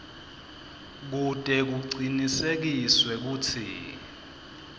kute kucinisekiswe kutsi